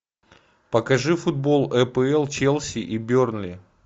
покажи футбол апл челси и бернли